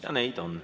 Ja neid on.